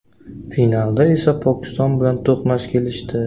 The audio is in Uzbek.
Finalda esa Pokiston bilan to‘qnash kelishdi.